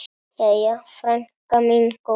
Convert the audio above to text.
Jæja, frænka mín góð.